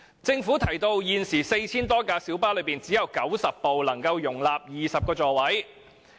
政府提到，在現時的 4,000 多輛小巴中，只有90輛能夠容納20個座位。